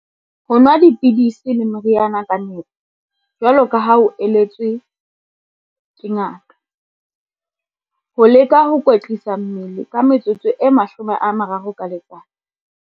Ho nwa dipidisi le meriana ka nepo, jwaloka ha o la-etswe ke ngaka. Ho leka ho kwetlisa mmele ka metsotso e 30 ka letsatsi.